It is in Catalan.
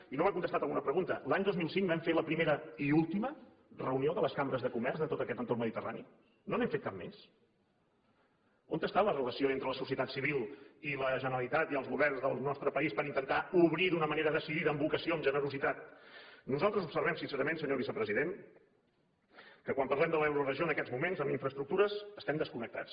i no m’ha contestat una pregunta l’any dos mil cinc vam fer la primera i última reunió de les cambres de comerç de tot aquest entorn mediterrani no n’hem fet cap més on és la relació entre la societat civil i la generalitat i els governs del nostre país per intentar obrir d’una manera decidida amb vocació amb generositat nosaltres observem sincerament senyor vicepresident que quan parlem de l’euroregió en aquests moments en infraestructures estem desconnectats